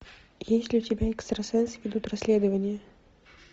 есть ли у тебя экстрасенсы ведут расследование